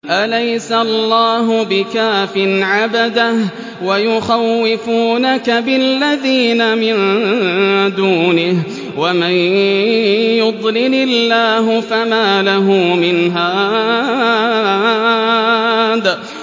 أَلَيْسَ اللَّهُ بِكَافٍ عَبْدَهُ ۖ وَيُخَوِّفُونَكَ بِالَّذِينَ مِن دُونِهِ ۚ وَمَن يُضْلِلِ اللَّهُ فَمَا لَهُ مِنْ هَادٍ